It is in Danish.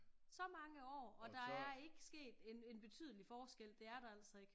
Så mange år og der er ikke sket en betydelig forskel det er der altså ikke